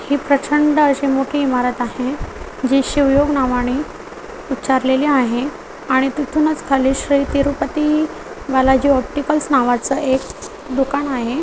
ही प्रचंड अशी मोठी इमारत आहे जी शिवयोग नावांनी उच्चारलेली आहे आणि तिथूनच खाली श्री तिरुपति बालाजी ऑप्टिकल्स नावाचं एक दुकान आहे.